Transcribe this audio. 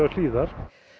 hlíðar